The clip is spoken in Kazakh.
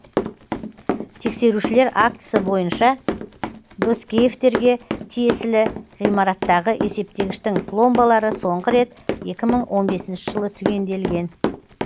тексерушілер актісі бойынша доскеевтерге тиесілі ғимараттағы есептегіштің пломбалары соңғы рет екі мың он бесінші жылы түгенделген